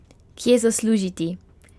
Kje zaslužiti?